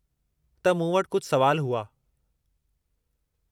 त मूं वटि कुझु सुवाल हुआ।